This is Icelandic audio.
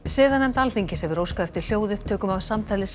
siðanefnd Alþingis hefur óskað eftir hljóðupptökum af samtali